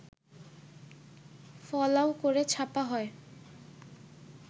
ফলাও করে ছাপা হয়